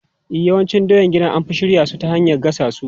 E, yawancin doyan gida an fi shirya su ta hanyar gasassu.